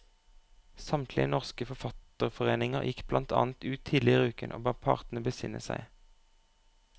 Samtlige norske forfatterforeninger gikk blant annet ut tidligere i uken og ba partene besinne seg.